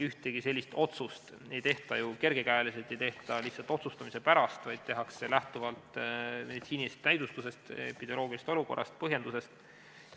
Ühtegi sellist otsust ei tehta ju kergekäeliselt, ei tehta lihtsalt otsustamise pärast, vaid tehakse lähtuvalt meditsiinilisest näidustusest, epidemioloogilisest olukorrast ja põhjendusest.